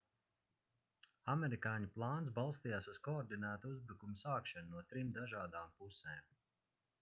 amerikāņu plāns balstījās uz koordinētu uzbrukumu sākšanu no trim dažādām pusēm